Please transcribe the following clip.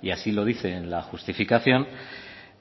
y así lo dice en la justificación